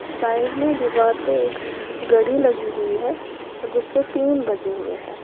Side में दीवार पे एक घड़ी लगी हुई है जिसपे तीन बजे हुए हैं।